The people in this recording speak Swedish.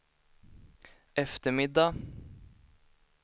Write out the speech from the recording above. eftermiddag